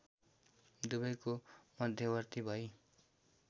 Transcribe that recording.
दुबैको मध्यवर्ती भई